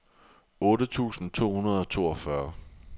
otte tusind to hundrede og toogfyrre